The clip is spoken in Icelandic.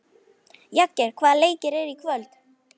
Jagger, hvaða leikir eru í kvöld?